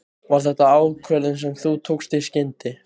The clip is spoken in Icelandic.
Var þetta ákvörðun sem þú tókst í skyndi?